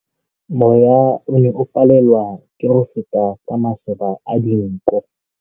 Mowa o ne o palelwa ke go feta ka masoba a dinko.